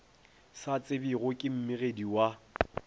sa tsebjego ke mmegedi wa